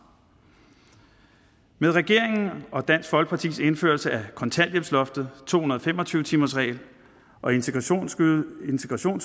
med regeringens og dansk folkepartis indførelse af kontanthjælpsloftet to hundrede og fem og tyve timersreglen og integrationsydelsen